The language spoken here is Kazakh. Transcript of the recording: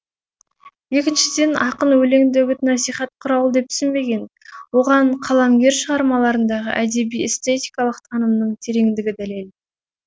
екіншіден ақын өлеңді үгіт насихат құралы деп түсінбеген оған қаламгер шығармаларындағы әдеби эстетикалық танымның тереңдігі дәлел